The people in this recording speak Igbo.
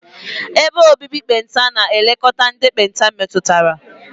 Ebe obibi ekpenta na-elekọta ndị ekpenta metụtara.